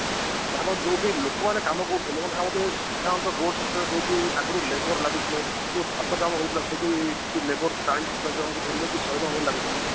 ଭାବ ଯୋଉଠି ଲୋକ ମାନେ କାମ କରୁଥିଲେ ମାନେ ଭାବନ୍ତୁ ସାଧାରଣତ road sector ଯୋଉଠି ଆଗୁରୁ labor ଲାଗୁଥିଲେ ଏ ଯୋଉ ଛାତ କାମ ହଉଥିଲା ସେଠି କିଛି labor ଚାଳିଶି ପଚାଶ ଜଣ ଙ୍କୁ ଧରିଲେ କି ଶହେ ଜଣ ଲାଗୁଥିଲେ